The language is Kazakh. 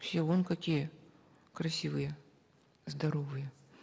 все вон какие красивые здоровые